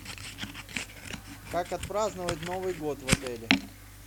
как отпраздновать новый год в отеле